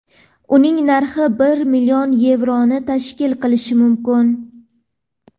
uning narxi bir million yevroni tashkil qilishi mumkin.